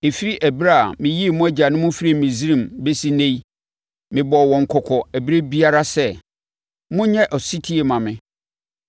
Ɛfiri ɛberɛ a, meyii mo agyanom firii Misraim bɛsi ɛnnɛ yi, mebɔɔ wɔn kɔkɔ ɛberɛ biara sɛ, “Monyɛ ɔsetie mma me.”